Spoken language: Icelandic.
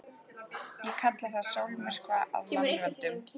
Ég kalla það sólmyrkva af mannavöldum.